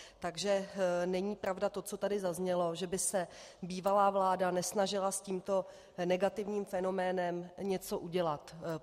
Takže není pravda to, co tady zaznělo, že by se bývalá vláda nesnažila s tímto negativním fenoménem něco udělat.